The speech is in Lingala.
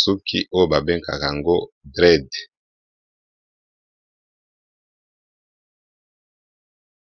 suki oyo babenga dread